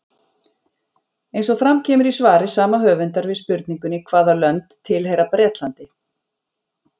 Eins og fram kemur í svari sama höfundar við spurningunni Hvaða lönd tilheyra Bretlandi?